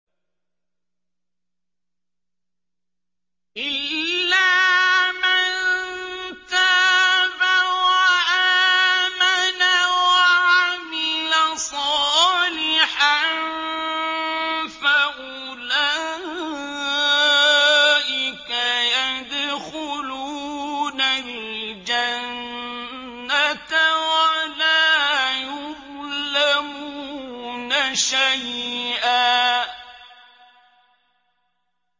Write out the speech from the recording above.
إِلَّا مَن تَابَ وَآمَنَ وَعَمِلَ صَالِحًا فَأُولَٰئِكَ يَدْخُلُونَ الْجَنَّةَ وَلَا يُظْلَمُونَ شَيْئًا